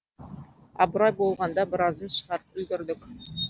абырой болғанда біразын шығарып үлгердік